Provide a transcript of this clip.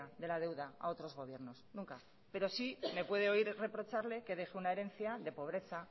de la deuda a otros gobiernos nunca pero sí me puede oír reprocharle que deje una herencia de pobreza